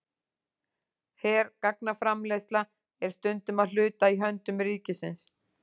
Hergagnaframleiðsla er stundum að hluta í höndum ríkisins.